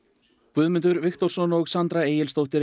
Guðmundur Viktorsson og Sandra Egilsdóttir